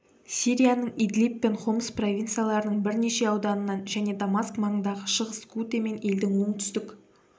сирияның идлиб пен хомс провинцияларының бірнеше ауданынан және дамаск маңындағы шығыс гуте мен елдің оңтүстік